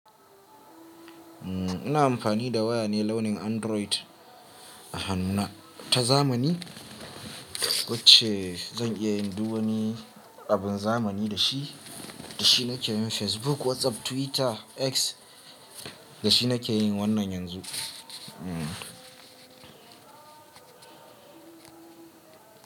Ina amfani da waya ne launin Android a hannuna ta zamani. Ko ince zan iya yin duk wani abun zamani da shi, da shi na ke yin Facebook, WhatsApp, Twitter, X da shi na ke yin wannan yanzu.